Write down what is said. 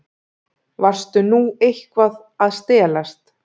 Varstu nú eitthvað að stelast?